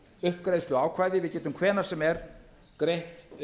uppgreiðsluákvæði hið ætlum hvenær sem er greitt